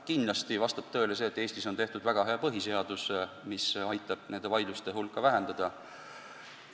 Kindlasti vastab tõele, et Eestis on väga hea põhiseadus, mis aitab nende vaidluste hulka vähendada.